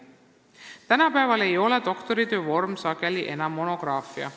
Tänapäeval ei ole doktoritöö vorm sageli enam monograafia.